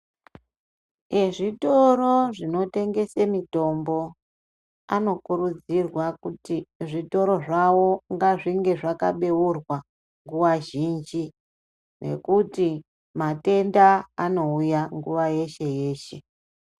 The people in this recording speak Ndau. Ezvitoro zvinotengese mitombo anokurudzirwa kuti zvitoro zvavo ngazvinge zvakabeura nguwa zhinji ngekuti matenda anouya nguwa yeshe yeshe .